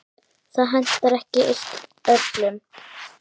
Það hentar ekki eitt öllum.